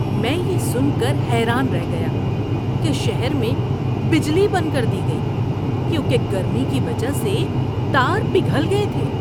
میں یہ سن کر حیران رہ گیا کہ شہر میں بجلی بند کر دی گئی کیونکہ گرمی کی وجہ سے تار پگھل گئے تھے!